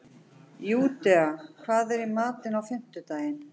Júdea, hvað er í matinn á fimmtudaginn?